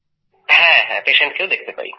হ্যাঁ patientকেও দেখতে পাই